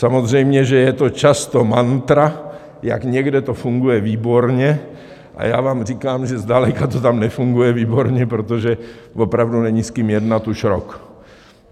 Samozřejmě že je to často mantra, jak někde to funguje výborně, a já vám říkám, že zdaleka to tam nefunguje výborně, protože opravdu není s kým jednat už rok.